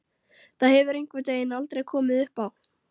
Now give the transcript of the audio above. Það hefur einhvern veginn aldrei komið uppá.